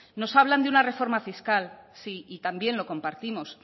nos hablan de una reforma fiscal sí y también lo compartimos